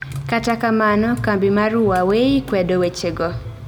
Kata kamano, kambi mar Huawei kwedo wechego